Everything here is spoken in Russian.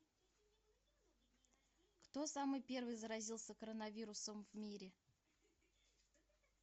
кто самый первый заразился коронавирусом в мире